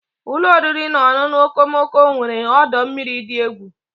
Ụlọ oriri na ọṅụṅụ okomoko nwere ọdọ mmiri dị egwu.